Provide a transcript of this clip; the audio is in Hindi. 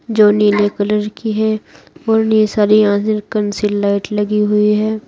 जो नीले कलर की है और ये सारी यहां से कंसील लाइट लगी हुई है।